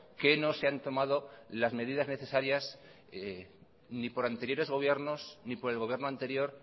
que no se han tomado las medidas necesarias ni por anteriores gobiernos ni por el gobierno anterior